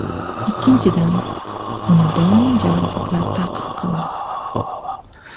Ikkinchidan, uni doimo jarohatlar ta’qib qildi.